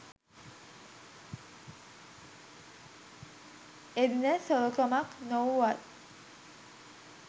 එදින සොරකමක් නොවූවත්